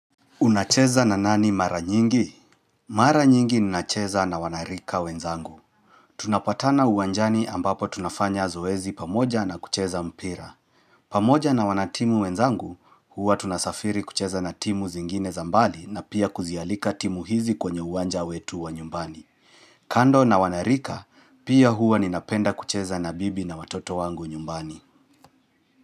Unacheza na nani mara nyingi? Mara nyingi ninacheza na wanarika wenzangu. Tunapatana uwanjani ambapo tunafanya zoezi pamoja na kucheza mpira. Pamoja na wanatimu wenzangu, huwa tunasafiri kucheza na timu zingine za mbali na pia kuzialika timu hizi kwenye uwanja wetu wa nyumbani. Kando na wanarika, pia huwa ninapenda kucheza na bibi na watoto wangu nyumbani.